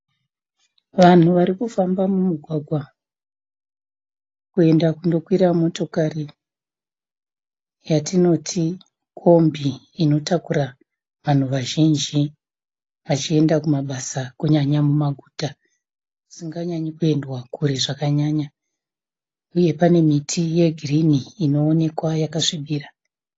Vanhu warikufamba mumugwagwa kuenda kunokwira motokari yatinoti kombi inotakura vanhu vazhinji vachienda kumabasa kunyanya mumaguta kusinganye kuenda Kure zvakanyanya uye pane miti yegirini inoonekwa yakasvibira